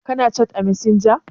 Ka/ ki na hira à masanja?